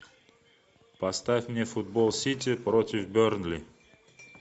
поставь мне футбол сити против бернли